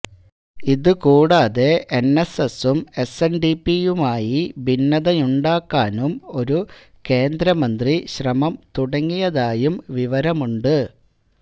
ഇതുകൂടാതെ എന്എസ്എസും എസ്എന്ഡിപിയുമായി ഭിന്നതയുണ്ടാക്കാനും ഒരു കേന്ദ്രമന്ത്രി ശ്രമം തുടങ്ങിയതായും വിവരമുണ്ട്